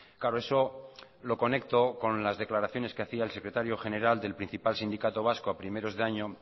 claro eso lo conecto con las declaraciones que hacía el secretario general del principal sindicato vasco a primeros de año